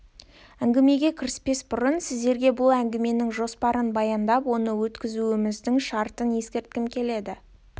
әңгімеге кіріспес бұрын сіздерге бұл әңгіменің жоспарын баяндап оны өткізуіміздің шартын ескерткім келеді